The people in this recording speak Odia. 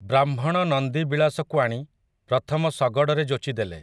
ବ୍ରାହ୍ମଣ ନନ୍ଦିବିଳାସକୁ ଆଣି, ପ୍ରଥମ ଶଗଡ଼ରେ ଯୋଚିଦେଲେ ।